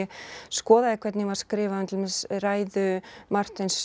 skoðaði hvernig var skrifað um til dæmis ræðu Martins